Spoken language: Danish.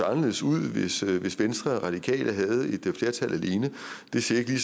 anderledes ud hvis venstre og de radikale havde et flertal alene det ser ikke lige